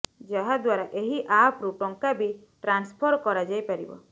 ଯାହାଦ୍ୱାରା ଏହି ଆପ୍ ରୁ ଟଙ୍କା ବି ଟ୍ରାନ୍ସଫର କରାଯାଇପାରିବ